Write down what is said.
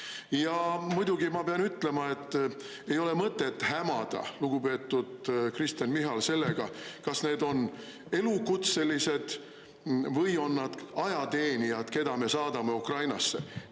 Ja muidugi ma pean ütlema, et ei ole mõtet hämada, lugupeetud Kristen Michal, sellega, kas need on elukutselised või on need ajateenijad, keda me saadame Ukrainasse.